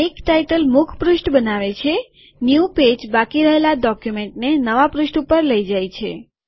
make ટાઈટલમુખપૃષ્ઠ બનાવે છેન્યુ પેજબાકી રહેલા ડોક્યુમેન્ટને નવા પૃષ્ઠ ઉપર લઇ જાય છે